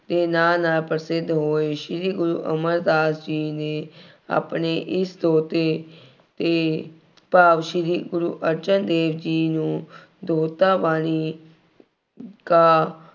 ਨੇ ਨਾਂ ਨਾਲ ਪ੍ਰਸਿੱਧ ਹੋਏ। ਸ਼੍ਰੀ ਗੁਰੂ ਅਮਰਦਾਸ ਜੀ ਨੇ ਆਪਣੇ ਇਸ ਛੋਟੇ ਅਤੇ ਭਾਵ ਸ਼੍ਰੀ ਗੁਰੂ ਅਰਜਨ ਦੇਵ ਜੀ ਨੂੰ ਗਾ